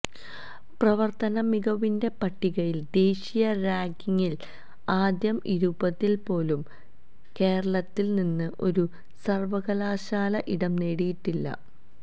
പ്രവര്ത്തന മികവിന്റെ പട്ടികയില് ദേശീയ റാങ്കിംഗില് ആദ്യ ഇരുപതില് പോലും കേരളത്തില് നിന്ന് ഒരു സര്വ്വകലാശാല ഇടം നേടിയിട്ടില്ല